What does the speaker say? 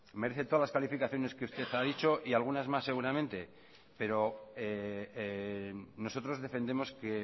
merece todas las calificaciones que usted ha dicho y algunas más seguramente pero nosotros defendemos que